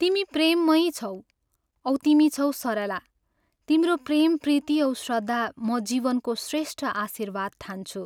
तिमी प्रेममयी छौ औ तिमी छौ सरला तिम्रो प्रेम प्रीति औ श्रद्धा म जीवनको श्रेष्ठ आशीर्वाद ठान्छु।